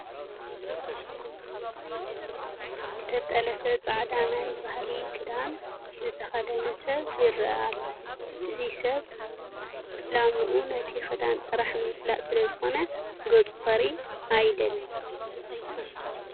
ዝተጠለፈ ፃዕዳ ናይ ባህሊ ኽዳን ዝተኸደነ ሰብ ይርአ ኣሎ፡፡ እዚ ሰብ ዕላምኡ ነቲ ክዳን ጥራሕ ንምፍላጥ ስለዝኾነ ገፁ ክረኣይ ኣየድለዮን፡፡